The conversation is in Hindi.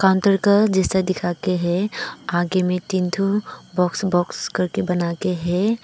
जैसा दिखा के है आगे में तीन ठो बॉक्स बॉक्स करके बनाके है।